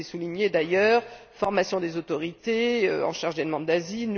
Il faut les souligner d'ailleurs formation des autorités en charge des demandes d'asile